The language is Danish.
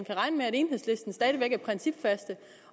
enhedslisten stadig væk er principfaste